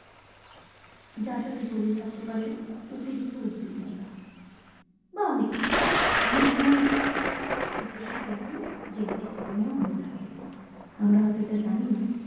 যার সাথে জড়িয়ে থাকতে পারে অতিরিক্ত উদ্দিকনতা বা অনেক কিছু অনেক সময় depression কিন্তু genetic কারণে ও হয়ে থাকে আমরা হয়ত এটা জানিনা